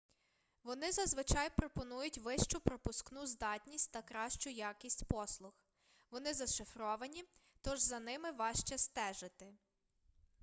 вони зазвичай пропонують вищу пропускну здатність та кращу якість послуг вони зашифровані тож за ними важче стежити